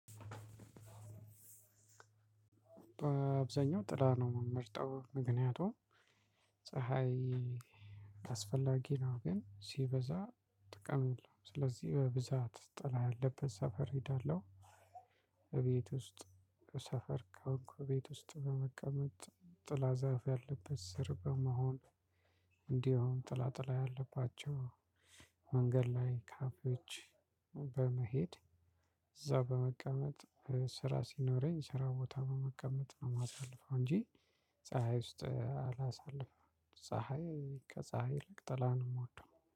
በአብዛኛው ጥላ ነው የምመርጠው ምክንያቱም ፀሀይ አስፈላጊ ነው ግን ሲበዛ ጥቅም የለውም ስለዚህ በብዛት ጥላ ያለበት ሰፈር እሄዳለሁ። ቤት ውስጥ ሰፈር ከሆንኩ ቤት ውስጥ በመቀመጥ ጥላ ዛፍ ያለበት ስር በመሆን እንዲሁ ጥላ ጥላ ያለባቸው መንገድ ላይ ካፌዎች በመሄድ እዛው በመቀመጥ ስራ ሲኖረኝ ስራ ቦታ በመቀመጥ ነው የማሳልፈው እንጂ ፀሀይ ውስጥ አላሳልፍም። ከፀሀይ ይልቅ ጥላ ነው የምወደው